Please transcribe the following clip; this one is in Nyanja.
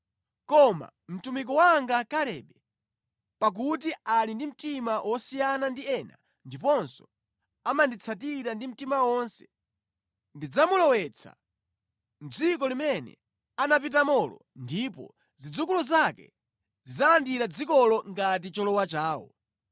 Koma mtumiki wanga Kalebe, pakuti ali ndi mtima wosiyana ndi ena ndiponso amanditsatira ndi mtima wonse, ndidzamulowetsa mʼdziko limene anapitamolo ndipo zidzukulu zake zidzalandira dzikolo ngati cholowa chawo.